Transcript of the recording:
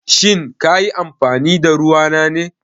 Shin ka yi amfani da ruwa na ne?